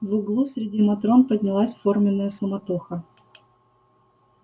в углу среди матрон поднялась форменная суматоха